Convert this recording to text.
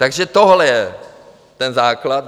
Takže tohle je ten základ.